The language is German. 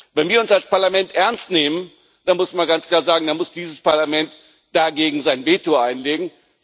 Wenn wir uns als Parlament ernst nehmen das muss man ganz klar sagen dann muss dieses Parlament sein Veto dagegen einlegen.